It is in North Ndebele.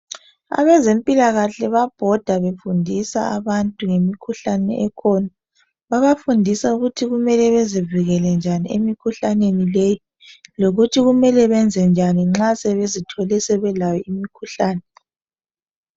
Abezempilakahle babhoda befundisa abantu ngemikhuhlane ekhona. Babafundisa ukuthi kumele bezivikele njani emikhuhlaneni leyi lokuthi kumele benzenjani nxa sebezithole sebelayo imikhuhlane .